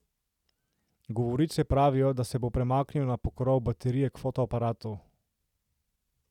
Govorice pravijo, da se bo premaknil na pokrov baterije k fotoaparatu.